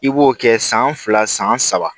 I b'o kɛ san fila san saba